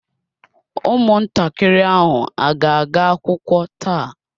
Ụmụntakịrị ahụ a ga-aga akwụkwọ taa?